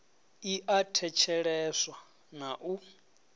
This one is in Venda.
i a thetsheleswa na u